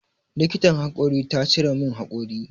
Likitan haƙori ta cire min haƙori.